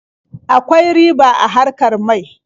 Akwai riba a harkar mai.